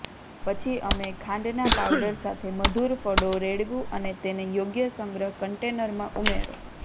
પછી અમે ખાંડના પાવડર સાથે મધુર ફળો રેડવું અને તેને યોગ્ય સંગ્રહ કન્ટેનરમાં ઉમેરો